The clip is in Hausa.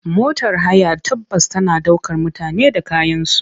Motar haya ta bas tana ɗaukar mutane da kayansu.